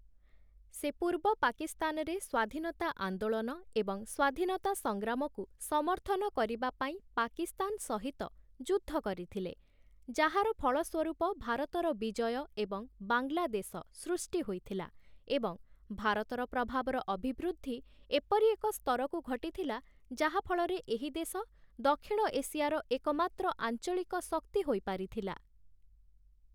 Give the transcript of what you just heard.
ସେ ପୂର୍ବ ପାକିସ୍ତାନରେ ସ୍ୱାଧୀନତା ଆନ୍ଦୋଳନ ଏବଂ ସ୍ୱାଧୀନତା ସଂଗ୍ରାମକୁ ସମର୍ଥନ କରିବା ପାଇଁ ପାକିସ୍ତାନ ସହିତ ଯୁଦ୍ଧ କରିଥିଲେ, ଯାହାର ଫଳସ୍ୱରୂପ ଭାରତର ବିଜୟ ଏବଂ ବାଂଲାଦେଶ ସୃଷ୍ଟି ହୋଇଥିଲା ଏବଂ ଭାରତର ପ୍ରଭାବର ଅଭିବୃଦ୍ଧି ଏପରି ଏକ ସ୍ତରକୁ ଘଟିଥିଲା ଯାହା ଫଳରେ ଏହି ଦେଶ ଦକ୍ଷିଣ ଏସିଆର ଏକମାତ୍ର ଆଞ୍ଚଳିକ ଶକ୍ତି ହୋଇପାରିଥିଲା ।